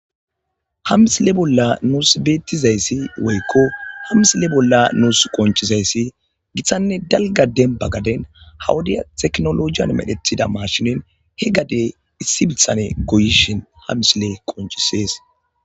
Ha misile bolla nus betizaysi woyko ha missile bolla nus qonc'izayis gittanne galga demba gadden ha wodiya tekkinojiyan medhetida mashshinen senthan goyishin ha misiley qonc'ises.